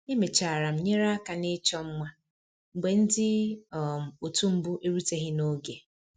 Emechara m nyere aka na ịchọ mma mgbe ndị um otu mbụ eruteghi n'oge